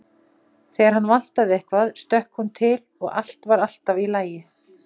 Þegar hann vantaði eitthvað stökk hún til og allt var alltaf í lagi.